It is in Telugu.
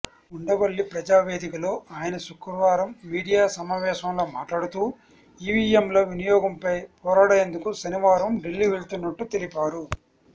ఉండవల్లి ప్రజావేదికలో ఆయన శుక్రవారం మీడియా సమావేశంలో మాట్లాడుతూ ఈవీఎంల వినియోగంపై పోరాడేందుకు శనివారం ఢిల్లీ వెళ్తున్నట్టు తెలిపారు